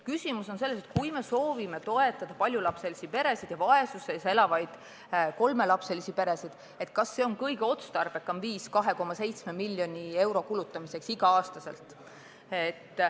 Küsimus on selles, et kui me soovime toetada paljulapselisi peresid ja vaesuses elavaid kolmelapselisi peresid, siis kas see on kõige otstarbekam viis 2,7 miljoni euro kulutamiseks igal aastal.